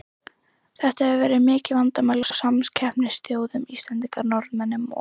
Þetta hefur verið mikið vandamál hjá samkeppnisþjóðum Íslendinga, Norðmönnum og